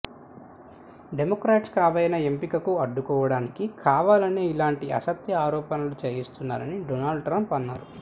Democrats Kavanaugh ఎంపికను అడ్డుకోవడానికి కావాలనే ఇలాంటి అసత్య ఆరోపణలు చేయిస్తున్నారని డోనల్డ్ ట్రంప్ అన్నారు